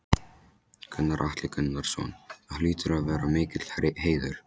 Gunnar Atli Gunnarsson: Það hlýtur að vera mikill heiður?